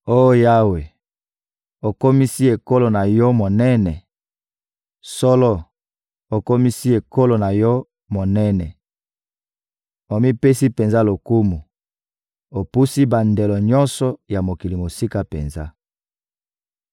Oh Yawe, okomisi ekolo na Yo monene! Solo, okomisi ekolo na Yo monene, omipesi penza lokumu; opusi bandelo nyonso ya mokili mosika penza.